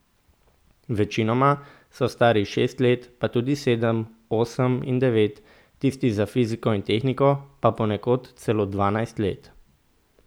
Večinoma so stari šest let pa tudi sedem, osem in devet, tisti za fiziko in tehniko pa ponekod celo dvanajst let.